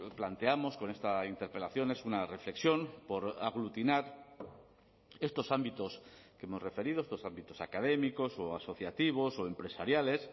planteamos con esta interpelación es una reflexión por aglutinar estos ámbitos que hemos referido estos ámbitos académicos o asociativos o empresariales